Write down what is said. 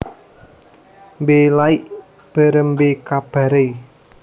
Mbe Laik Berembe Kabare